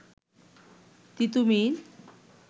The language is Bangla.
তিতুমীর